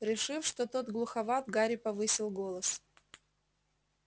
решив что тот глуховат гарри повысил голос